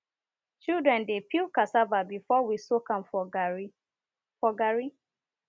children dey peel cassava before we soak am for garri for garri